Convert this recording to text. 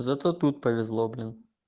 зато тут повезло блин